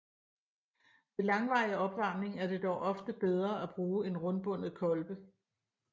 Ved langvarig opvarmning er det dog ofte bedre at bruge en rundbundet kolbe